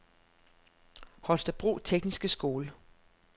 Holstebro Tekniske Skole